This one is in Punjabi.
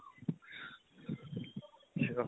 ਅੱਛਾ